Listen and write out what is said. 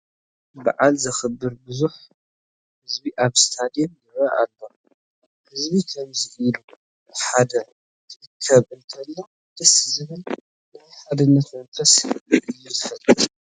በዓል ዘኽብር ብዙሕ ህዝቢ ኣብ ስቴድየም ይርአ ኣሎ፡፡ ህዝቢ ከምዚ ኢሉ ብሓደ ክእከብ እንተሎ ደስ ዝብል ናይ ሓድነት መንፈስ እዩ ዝፈጥር፡፡